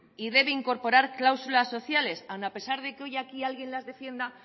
y debe incorporar cláusulas sociales aún a pesar de que hoy aquí alguien las defienda